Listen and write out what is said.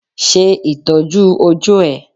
Ṣe Ìtọ́jú ojú ẹ.